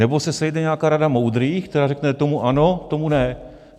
Nebo se sejde nějaká rada moudrých, která řekne "tomu ano, tomu ne"?